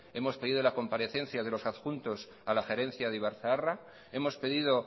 hemos pedido la comparecencia de los adjuntos a la gerencia de ibarzaharra hemos pedido